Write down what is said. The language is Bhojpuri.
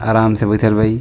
आराम से बइठल बा इ --